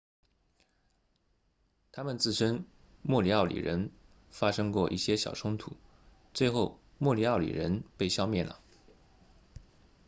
他们自称莫里奥里人发生过一些小冲突最后莫里奥里人被消灭了